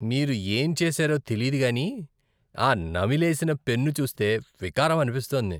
మీరు ఏం చేశారో తెలీదు కానీ ఆ నమిలేసిన పెన్ను చూస్తే వికారం అనిపిస్తోంది.